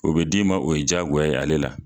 O bɛ d'i ma o ye jaagoya ye ale la.